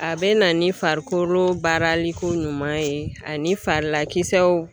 A bɛ na ni farikolo baaralikoɲuman ye ani farilakisɛw